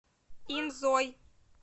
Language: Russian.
инзой